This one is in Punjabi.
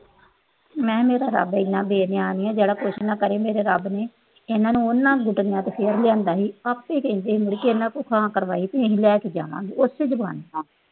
ਮੈਂ ਕਿਹਾ ਮੇਰਾ ਰੱਬ ਇੰਨਾ ਬੇਈਮਾਨ ਨੀ ਆ ਜਿਹੜਾ ਕੁਛ ਨਾ ਕਰੇ। ਇਹਨਾਂ ਉਹਨਾਂ ਨੂੰ ਘੁਟਣਿਆਂ ਤੇ ਫੇਰ ਲਿਆਂਦਾ ਸੀ, ਆਪੇ ਕਹਿੰਦੇ ਸੀ ਇਹਨਾਂ ਤੋਂ ਹਾਂ ਕਰਾਈ ਸੀ ਵੀ ਲੈ ਕੇ ਜਾਵਾਂਗੇ, ਉਸੇ ਜੁਬਾਨ ਨਾਲ।